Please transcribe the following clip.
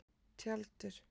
Tjaldur